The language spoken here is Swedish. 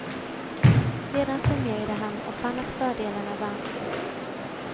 Sedan summerade han och fann att fördelarna vann.